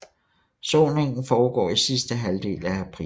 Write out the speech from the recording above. Såningen foregår i sidste halvdel i april